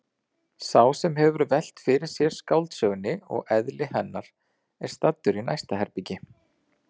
Sá sem hefur velt fyrir sér skáldsögunni og eðli hennar er staddur í næsta herbergi.